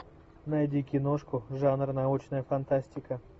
найди киношку жанр научная фантастика